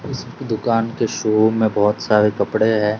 उस दुकान के शोरूम में बहोत सारे कपड़े है।